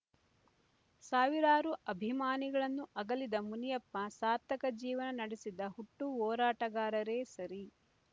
ಸಾವಿರಾರು ಅಭಿಮಾನಿಗಳನ್ನು ಅಗಲಿದ ಮುನಿಯಪ್ಪ ಸಾರ್ಥಕ ಜೀವನ ನಡೆಸಿದ ಹುಟ್ಟು ಹೋರಾಟಗಾರರೇ ಸರಿ